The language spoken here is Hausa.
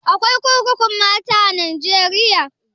Akwai kurkukun mata a najeriya?